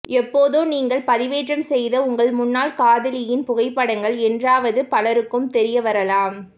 எப்போதோ நீங்கள் பதிவேற்றம் செய்த உங்கள் முன்னாள் காதலியின் புகைப்படங்கள் என்றாவது பலருக்கும் தெரியவரலாம்